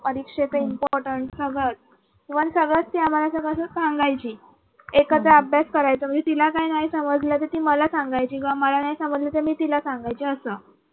परीक्षेचे importance सगळं च even सगळच ती आम्हाला असं सांगायची एकत्र अभ्यास करायचं म्हणजे तिला काय नाही समजलं तर ती मला सांगायची किंवा मला नाही समज तर मी तिला सांगायची असं.